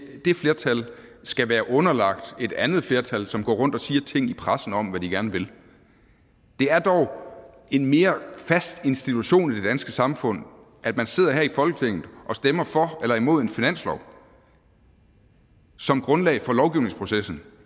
flertal skal være underlagt et andet flertal som går rundt og siger ting i pressen om hvad de gerne vil det er dog en mere fast institution i det danske samfund at man sidder her i folketinget og stemmer for eller imod en finanslov som grundlag for lovgivningsprocessen